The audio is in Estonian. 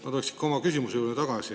Ma tulen oma küsimuse juurde tagasi.